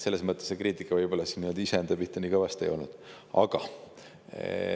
Selles mõttes see kriitika võib-olla iseenda pihta nii kõvasti ei.